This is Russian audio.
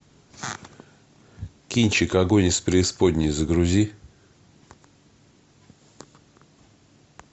кинчик огонь из преисподней загрузи